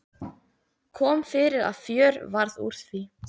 Kom fyrir að fjör varð úr því.